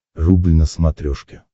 рубль на смотрешке